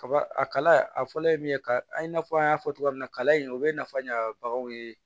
Kaba a kala a fɔlɔ ye min ye ka i n'a fɔ an y'a fɔ cogoya min na kala in o bɛ nafa ɲa baganw ye